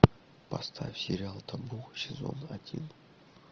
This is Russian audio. поставь сериал табу сезон один